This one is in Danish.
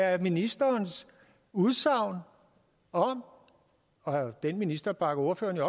af ministerens udsagn om og den minister bakker ordføreren